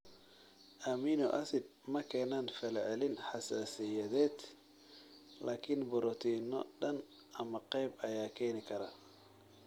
Amino acids ma keenaan falcelin xasaasiyadeed laakiin borotiinno dhan ama qayb ayaa keeni kara.